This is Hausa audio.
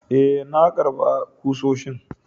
Ee, na karba kusoshi.